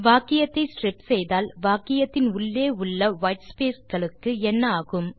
வாக்கியத்தை ஸ்ட்ரிப் செய்தால் வாக்கியத்தின் உள்ளே உள்ள வைட் ஸ்பேஸ் களுக்கு என்ன ஆகும்